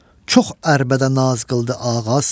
Çox ərbədə naz qıldı ağaz.